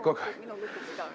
Minu lugupidamine.